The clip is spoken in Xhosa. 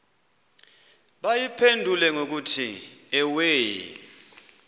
bayiphendule ngokuthi ewe